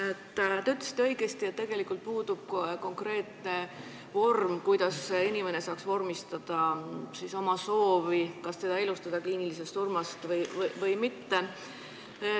Te ütlesite õigesti, et meil puudub konkreetne vorm, kuidas inimene saaks vormistada oma soovi, kas teda elustada kliinilisest surmast või mitte.